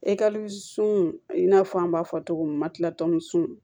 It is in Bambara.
sun i n'a fɔ an b'a fɔ cogo min ma kila tɔmuso sun